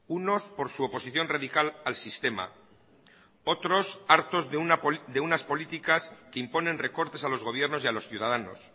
unos por su oposición radical al sistema otros hartos de unas políticas que imponen recortes a los gobiernos y a los ciudadanos